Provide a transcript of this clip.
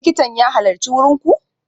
Likitan ya halarci wurin ku?